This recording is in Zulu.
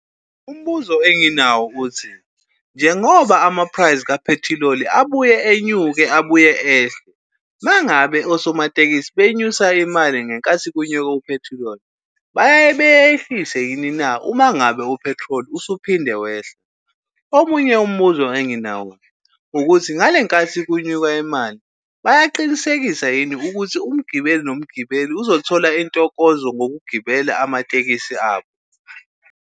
Umbuzo enginawo ukuthi, njengoba ama-price ka-petrol abuye enyuka abuye ehle mangabe osomatekisi benyusa imali ngenkathi kunyuka uphethiloli bayaye bayehlise yini na uma ngabe uphethiloli usuphinde wehla? Omunye umbuzo enginawo ukuthi ngale nkathi kunyuka imali, bayaqinisekisa yini ukuthi umgibeli nomgibeli uzothola intokozo ngokugibela amatekisi abo?